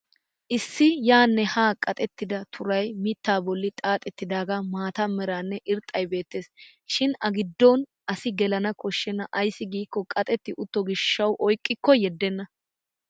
Issi yaanne haa qaxettida turay mittaa bolli xaaxettidaagaa mata meranne irxxay beettes. Shin ha giddon asi gelana koshenna ayssi giikko qaxetti utto gishshawu oyqqikko yeddenna.